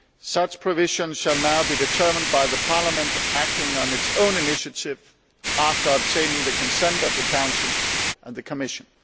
Such provisions shall now be determined by Parliament, acting on its own initiative after obtaining the consent of the Council and the Commission.